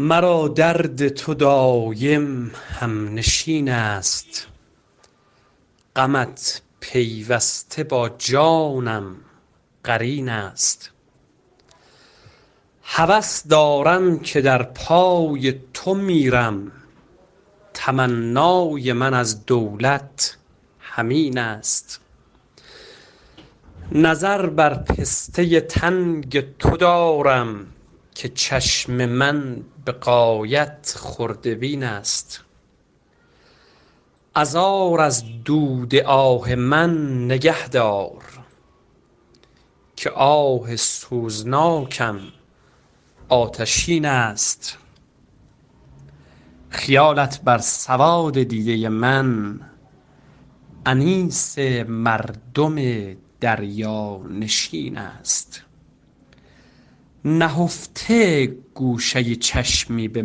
مرا درد تو دایم هم نشین است غمت پیوسته با جانم قرین است هوس دارم که در پای تو میرم تمنای من از دولت همین است نظر بر پسته تنگ تو دارم که چشم من به غایت خرده بین است عذار از دود آه من نگهدار که آه سوزناکم آتشین است خیالت بر سواد دیده من انیس مردم دریا نشین است نهفته گوشه چشمی به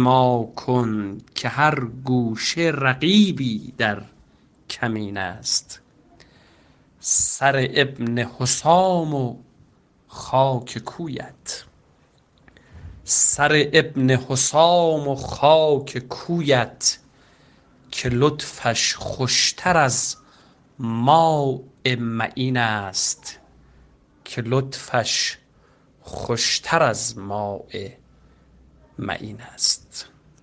ما کن که هر گوشه رقیبی در کمین است سر ابن حسام و خاک کویت که لطفش خوشتر از ماء معین است